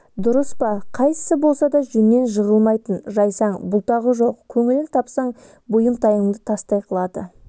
дұрыс па қайсысы болса да жөннен жығылмайтын жайсаң бұлтағы жоқ көңілін тапсаң бұйымтайыңды тастай қылады